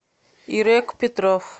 ирек петров